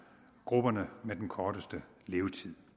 grupperne med den korteste levetid